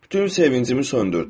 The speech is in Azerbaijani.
Bütün sevincimi söndürdün.